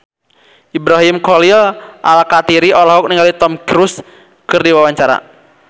Ibrahim Khalil Alkatiri olohok ningali Tom Cruise keur diwawancara